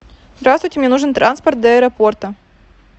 здравствуйте мне нужен транспорт до аэропорта